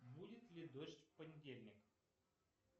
будет ли дождь в понедельник